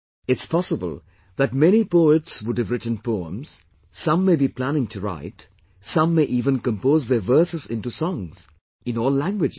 It's possible that many poets would have written poems, some may be planning to write, some may even compose their verses into songs, in all languages